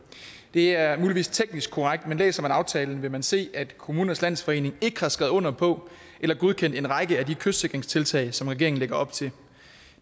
det er muligvis teknisk korrekt men læser man aftalen vil man se at kommunernes landsforening ikke har skrevet under på eller godkendt en række af de kystsikringstiltag som regeringen lægger op til